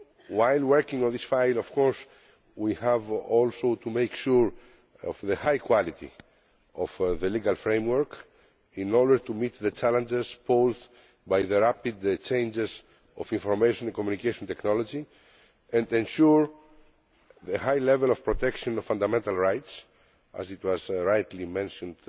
While working on this file, we of course also have to make sure of the high quality of the legal framework in order to meet the challenges posed by the rapid changes in information and communication technology and ensure a high level of protection of fundamental rights, as was rightly mentioned